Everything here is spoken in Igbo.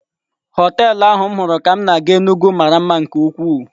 Họtelụ ahu m huru ka m na-aga Enugu mara mma nke ukwuu.